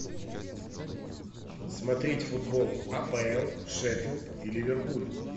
смотреть футбол апл шеффилд и ливерпуль